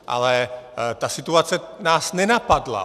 Ale ta situace nás nenapadla.